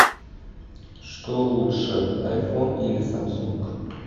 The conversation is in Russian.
что лучше айфон или самсунг